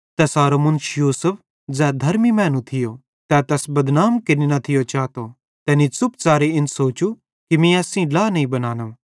तैसारो मुन्श यूसुफ ज़ै धर्मी मैनू थियो तै तैस बदनाम केरनि न थियो चातो तैनी च़ुपच़ारे इन सोचू कि मीं एस सेइं ड्ला नईं बनानो